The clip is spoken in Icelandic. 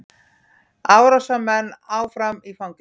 Árásarmenn áfram í fangelsi